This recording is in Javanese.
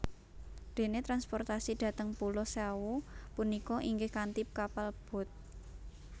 Dene transportasi dhateng pulo Sawu punika inggih kanthi kapal boat